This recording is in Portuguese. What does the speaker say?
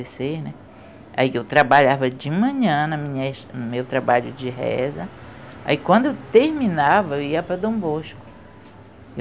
né? Aí eu trabalhava de manhã na minha no meu trabalho de reza, aí quando eu terminava eu ia para Dom Bosco.